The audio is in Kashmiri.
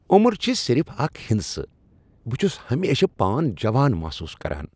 عمر چھ صرف اکھ ہندسہٕ ۔ بہٕ چھس ہمیشہٕ پان جوان محسوس کران ۔